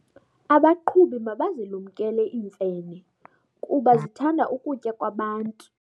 Abaqhubi mabazilumkele iimfene kuba zithanda ukutya kwabantu.